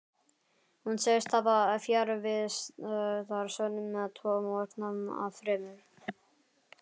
Hún segist hafa fjarvistarsönnun tvo morgna af þremur.